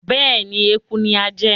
Bẹ́ẹ̀ni, Eku ni a ń jẹ